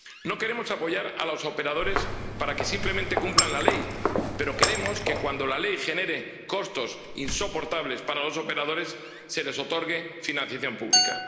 No queremos apoyar a los operadores para que simplemente cumplan la ley, pero queremos que, cuando la ley genere costos insoportables para los operadores, se les otorgue financiación pública.